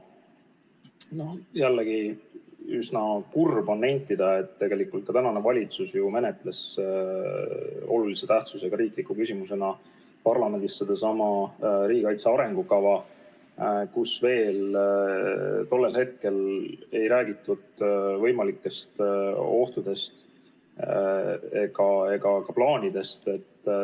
Jällegi üsna kurb on nentida, et tegelikult tänane valitsus menetles parlamendis olulise tähtsusega riikliku küsimusena riigikaitse arengukava, milles veel tol hetkel ei räägitud võimalikest ohtudest ega ka plaanidest.